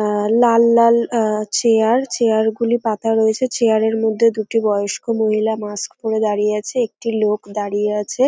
আহ লাল লাল আহ চেয়ার চেয়ার - গুলি পাতা রয়েছে চেয়ার - এর মধ্যে দুটি বয়স্ক মহিলা মাস্ক পড়ে দাড়িয়ে আছে একটি লোক দাড়িয়ে আছে।